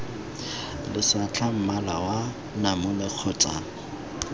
lesetlha mmala wa namune kgotsa